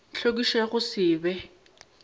tlhwekišo ya go se be